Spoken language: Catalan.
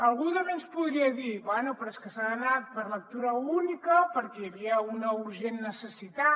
algú també ens podria dir bé però és que s’ha anat per lectura única perquè hi havia una urgent necessitat